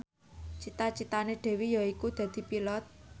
cita citane Dewi yaiku dadi Pilot